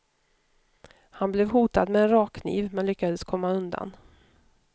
Han blev hotad med en rakkniv, men lyckades komma undan.